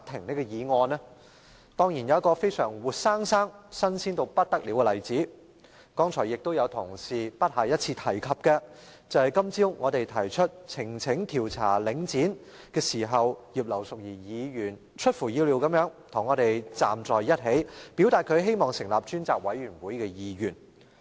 當然是因為現在有個活生生、"新鮮"到不得了的例子——其他同事剛才也不下一次提及——便是今早我們提出呈請調查領展房地產投資信託基金時，葉劉淑儀議員出乎意料地與我們站在一起，表達她希望成立專責委員會的意願。